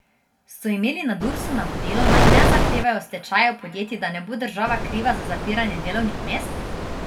So imeli na Dursu navodilo, naj ne zahtevajo stečajev podjetij, da ne bo država kriva za zapiranje delovnih mest?